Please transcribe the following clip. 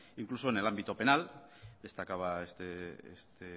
incluso en el ámbito penal destacaba este